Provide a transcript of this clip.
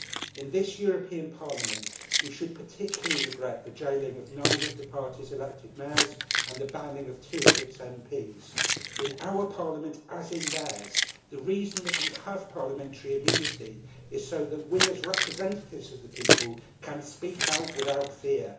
In this European Parliament, we should particularly regret the jailing of nine of the party's elected mayors and the banning of two of its MPs. In our Parliament, as in theirs, the reason that we have parliamentary immunity is so that we, as representatives of the people, can speak out without fear.